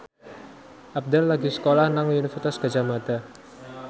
Abdel lagi sekolah nang Universitas Gadjah Mada